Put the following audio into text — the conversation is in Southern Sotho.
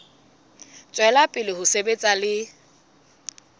tswela pele ho sebetsa le